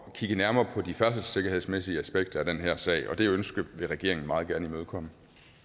at kigge nærmere på de færdselssikkerhedsmæssige aspekter af den her sag og det ønske vil regeringen meget gerne imødekomme